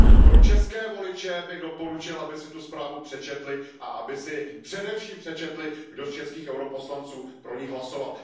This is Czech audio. Pro české voliče bych doporučil, aby si tu zprávu přečetli a aby si především přečetli, kdo z českých poslanců EP pro ni hlasoval.